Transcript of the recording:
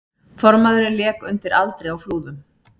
Formaðurinn lék undir aldri á Flúðum